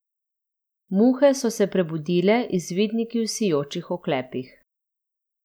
Muhe so se prebudile, izvidniki v sijočih oklepih.